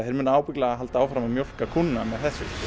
þeir munu ábyggilega halda áfram að mjólka kúna